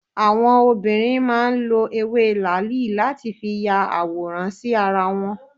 Àwọn obìnrin máa ń lọ ewé làáàlì láti fi ya àwòrán sí ara wọn.